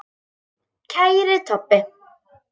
Kæri Tobbi.